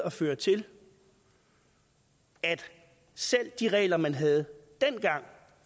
at føre til at selv de regler man havde dengang